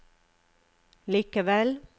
likevel